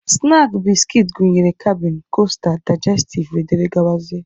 Snaakị biskit gụnyere kabịn, kosta, daijestiv wdg.